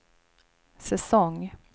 säsong